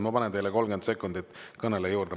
Ma panen teile 30 sekundit kõnele juurde.